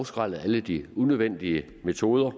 skrællet alle de unødvendige metoder